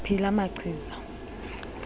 phi la machiza